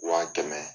Wa kɛmɛ